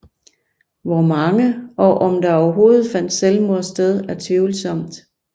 Hvor mange og om der overhovedet fandt selvmord sted er tvivlsomt